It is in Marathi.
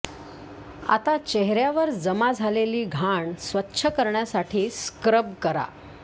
आता चेहऱ्यावर जमा झालेली घाण स्वच्छ करण्यासाठी स्क्रब करा